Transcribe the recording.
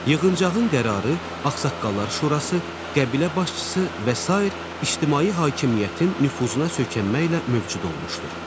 Yığıncağın qərarı, ağsaqqallar şurası, qəbilə başçısı və sair ictimai hakimiyyətin nüfuzuna söykənməklə mövcud olmuşdur.